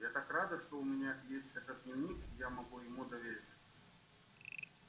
я так рада что у меня есть этот дневник и я могу ему довериться